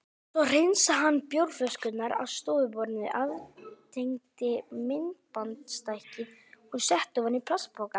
Svo hreinsaði hann bjórflöskurnar af stofuborðinu, aftengdi myndbandstækið og setti ofan í plastpoka.